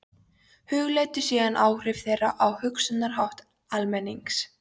Hugleiddu síðan áhrif þeirra á hugsunarhátt almennings.